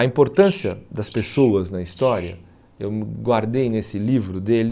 A importância das pessoas na história, eu guardei nesse livro dele,